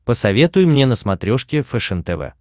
посоветуй мне на смотрешке фэшен тв